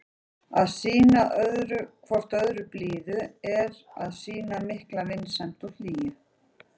Að sýna hvort öðru blíðu er að sýna mikla vinsemd og hlýju.